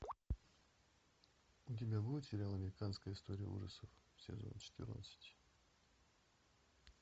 у тебя будет сериал американская история ужасов сезон четырнадцать